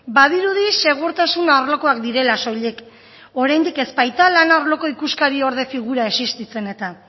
badirudi segurtasun arlokoak direla soilik oraindik ez baita lan arloko ikuskariorde figura existitzen eta